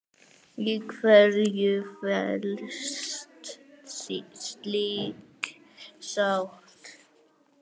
Í hverju felst slík sátt?